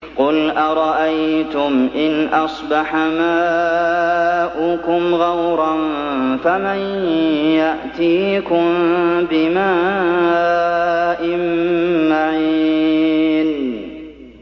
قُلْ أَرَأَيْتُمْ إِنْ أَصْبَحَ مَاؤُكُمْ غَوْرًا فَمَن يَأْتِيكُم بِمَاءٍ مَّعِينٍ